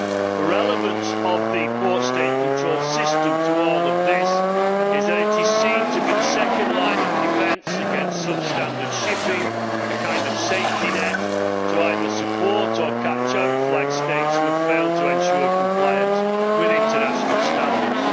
The relevance of the port State control system to all of this is that it is seen to be the second line of defence against substandard shipping a kind of safety net to support or to catch out flag States that have failed to ensure compliance with international standards.